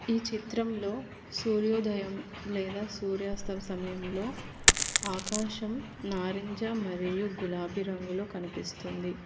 ఈ చిత్రంలో సూర్యోదయం లేదా సూర్యాస్తమ సమయంలో ఆకాశం నారింజ మరియు గులాబీ రంగులు కనిపిస్తుంది.